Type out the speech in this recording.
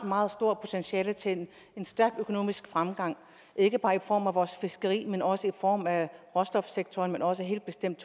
meget stort potentiale til en stærk økonomisk fremgang ikke bare i form af vores fiskeri men også i form af råstofsektoren og helt bestemt